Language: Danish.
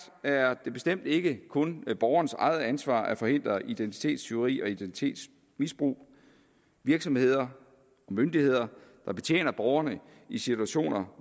er det bestemt ikke kun borgerens eget ansvar at forhindre identitetstyveri og identitetsmisbrug virksomheder og myndigheder der betjener borgerne i situationer